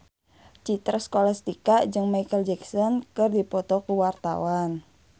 Citra Scholastika jeung Micheal Jackson keur dipoto ku wartawan